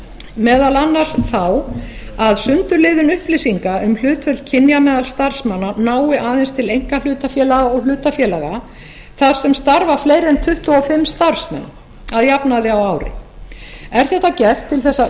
meðal annars þá að sundurliðun upplýsinga um hlutföll kynja meðal starfsmanna nái aðeins til einkahlutafélaga og hlutafélaga þar sem starfa fleiri en tuttugu og fimm starfsmenn að jafnaði á ári er þetta gert til að